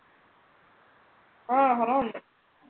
ആ കുറവുണ്ട്.